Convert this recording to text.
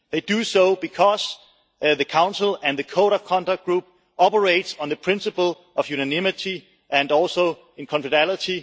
They do so because the Council and the Code of Conduct Group operates on the principle of unanimity and also confidentiality.